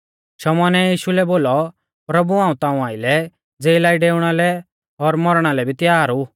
शमौनै यीशु लै बोलौ प्रभु हाऊं ताऊं आइलै ज़ेला ई डेऊणा लै और मौरणा लै भी तैयार ऊ